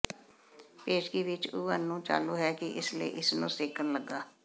ਪੇਸ਼ਗੀ ਵਿੱਚ ਓਵਨ ਨੂੰ ਚਾਲੂ ਹੈ ਕਿ ਇਸ ਲਈ ਇਸ ਨੂੰ ਸੇਕਣ ਲੱਗਾ